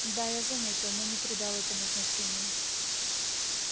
да я заметил но не придал этому значения